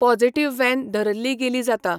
Positive वेन धरिल्ली गेली जाता.